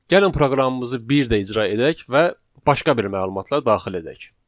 Gəlin proqramımızı bir də icra edək və başqa bir məlumatla daxil edək.